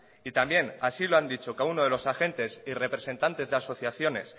y también así lo han dicho cada uno de los agentes y representantes de asociaciones